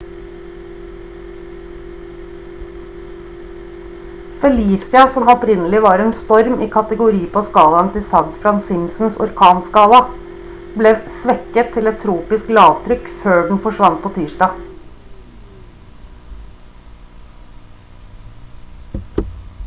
felicia som opprinnelig var en storm i kategori på skalaen til safgran-simpsons orkanskala ble svekket til et tropisk lavtrykk før den forsvant på tirsdag